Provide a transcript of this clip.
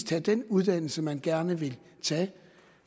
tage den uddannelse man gerne vil tage